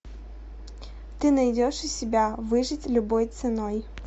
ты найдешь у себя выжить любой ценой